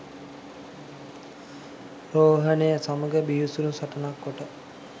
රෝහණය සමඟ බිහිසුනු සටනක් කොට